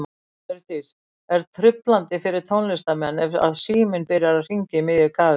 Hjördís: Er truflandi fyrir tónlistarmenn ef að síminn byrjar að hringja í miðju kafi?